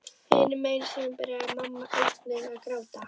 Hinum megin í símanum byrjaði mamma einnig að gráta.